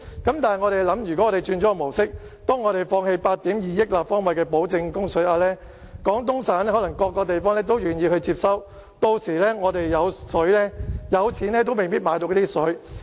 但是，試想想，若轉換了模式，放棄8億 2,000 萬立方米的保證供水額，廣東省各地可能都願意接收，屆時我們可能有錢也未必買得到水。